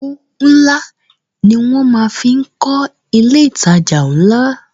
Owó ńlá ni wọn fi máa ń kọ ilé ìtajà ńlá